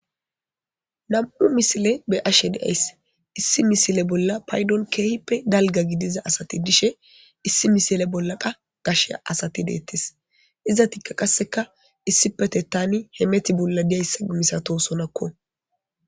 Nam'u misile be ashe deays issi misile bolla paydon keehippe dalga gidiza asati dishe issi misile bolla qa gashe asati deettis iza tikka qasseka issipete tani hemeti bolla diyayssa misato sonakko.